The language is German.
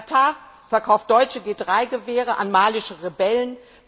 Katar verkauft deutsche G3 Gewehre an malische Rebellen.